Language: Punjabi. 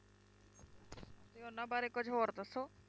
ਤੇ ਉਹਨਾਂ ਬਾਰੇ ਕੁੱਝ ਹੋਰ ਦੱਸੋ।